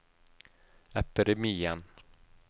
epidemien